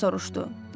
Kap soruşdu.